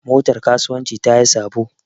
Motar kasuwanci tayi sabo.